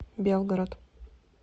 белгород